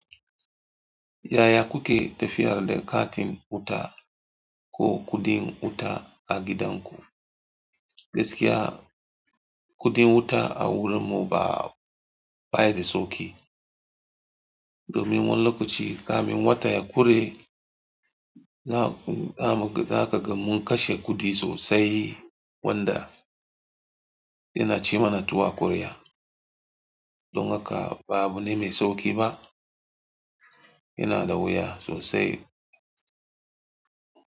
Yaya kuke tafiyar da katin wuta ko kuɗin wuta a gidanku? Gaskiya kudin wuta a wurin mu ba bashi da sauki, domin wani lokaci kafin wata ya kure za ka ga mun kashe kuɗi sosai wanda yana ci mana tuwo a ƙwarya. Don haka ba abu ne mai sauƙi ba, yana da wuya sosai.